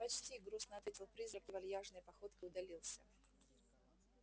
почти грустно ответил призрак и вальяжной походкой удалился